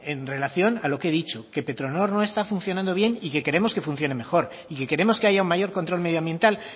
en relación a lo que he dicho que petronor no está funcionando bien y que queremos que funcione mejor y que queremos que haya un mayor control medioambiental